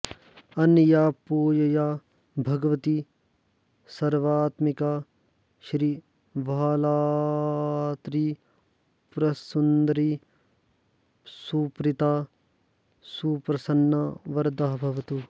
अनया पूजया भगवती सर्वात्मिका श्रीबालात्रिपुरसुन्दरी सुप्रीता सुप्रसन्ना वरदा भवतु